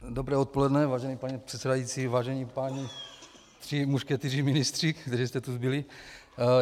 Dobré odpoledne, vážený pane předsedající, vážení pánové tři mušketýři ministři, kteří jste tu zbyli.